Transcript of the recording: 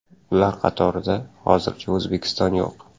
Ular qatorida hozircha O‘zbekiston yo‘q.